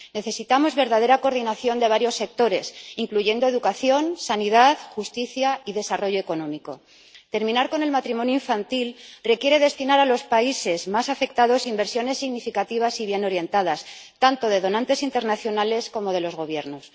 Necesitamos verdadera coordinación de varios sectores, incluyendo educación, sanidad, justicia y desarrollo económico. Terminar con el matrimonio infantil requiere destinar a los países más afectados inversiones significativas y bien orientadas, tanto de donantes internacionales como de los gobiernos.